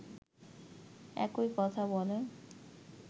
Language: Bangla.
একই কথা বলেন